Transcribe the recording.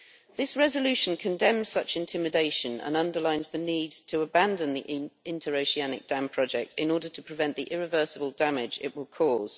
This resolution condemns such intimidation and underlines the need to abandon the interoceanic dam project in order to prevent the irreversible damage it will cause.